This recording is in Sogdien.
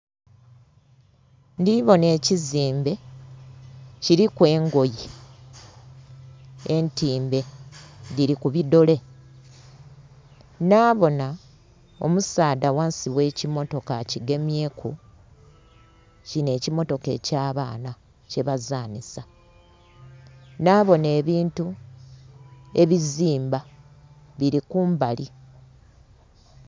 Ndhi bonha ekizimbe kiliku engoye entimbe dhili ku bi ddole, nhabonha omusaadha ghansi ghe kimmotoka akigemyeku, kinho ekimmotoka eky'abaana kye bazanhisa. Nhabonha ebintu ebizimba, bili ku mbali.